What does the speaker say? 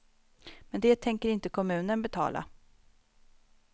Men det tänker inte kommunen betala.